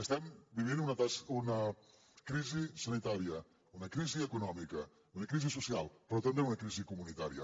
estem vivint una crisi sanitària una crisi econòmica una crisi social però també una crisi comunitària